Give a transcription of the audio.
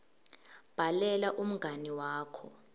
bhalela umngani wakho